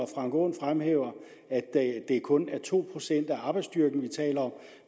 frank aaen fremhæver at det kun er to procent af arbejdsstyrken vi taler om